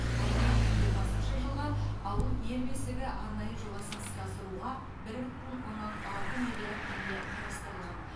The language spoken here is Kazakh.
ал екі мың жиырмасыншы жылға ауыл ел бесігі арнайы жобасын іске асыруға бір бүтін оннан алты миллиард теңге қарастырылған